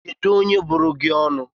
Kedu onye buru gi onu?